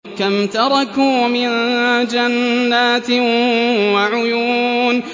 كَمْ تَرَكُوا مِن جَنَّاتٍ وَعُيُونٍ